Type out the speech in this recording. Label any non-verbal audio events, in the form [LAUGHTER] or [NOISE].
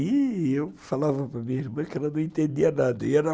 E eu falava para minha irmã que ela não entendia nada [UNINTELLIGIBLE]